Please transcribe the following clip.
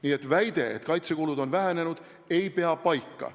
Nii et väide, et kaitsekulud on vähenenud, ei pea paika.